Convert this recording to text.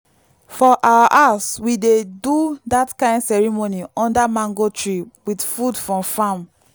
for our house we dey do that kind ceremony under mango tree with food from farm.